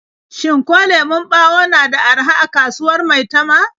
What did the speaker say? Shin ko lemon ɓawo na da araha a kasuwar Maitama?